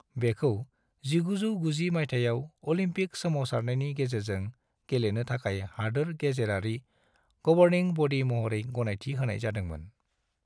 बेखौ 1990 मायथाइयाव अलिम्पिक सोमावसारनायनि गेजेरजों गेलेनो थाखाय हादोर गेजेरारि गबर्निं बडी महरै गनायथि होनाय जादोंमोन।